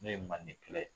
N'o ye manden kelen ye